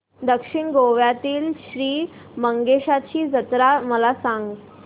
दक्षिण गोव्यातील श्री मंगेशाची जत्रा मला सांग